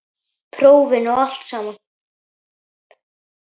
Prófin og allt samana.